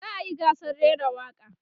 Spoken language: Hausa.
za'a yi gasar rera waƙa